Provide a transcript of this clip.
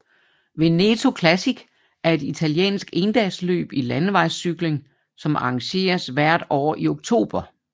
Veneto Classic er et italiensk endagsløb i landevejscykling som arrangeres hvert år i oktober